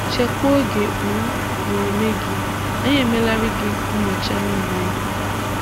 Chekwaa oge um na ume gị, anyị emelarị gị nyocha niile!